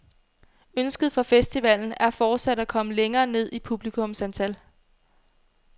Ønsket for festivalen er fortsat at komme længere ned i publikumsantal.